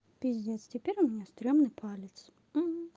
пиздец теперь у меня страшный палец